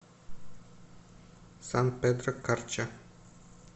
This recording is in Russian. сан педро карча